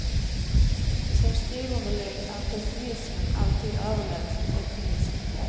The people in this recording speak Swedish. Som skrivunderlägg är pessimismen alltid överlägsen optimismen.